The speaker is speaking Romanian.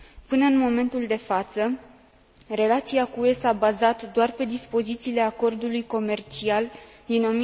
Până în momentul de față, relația cu UE s a bazat doar pe dispozițiile acordului comercial din